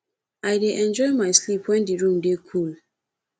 i dey enjoy my sleep wen di room dey cool